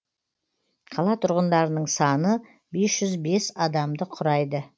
қала тұрғындарының саны бес жүз бес адамды құрайды